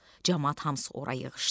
Camaat hamısı ora yığışdı.